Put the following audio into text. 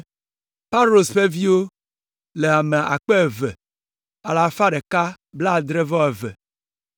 Paros ƒe viwo le ame akpe eve alafa ɖeka kple blaadre-vɔ-eve (2,172).